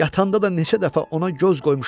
Yatanda da neçə dəfə ona göz qoymuşam.